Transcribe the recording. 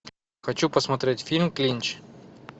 хочу посмотреть фильм клинч